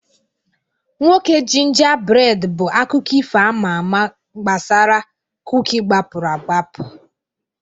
Nwoke Gingerbread bụ akụkọ ifo ama ama gbasara kuki gbapụrụ agbapụ.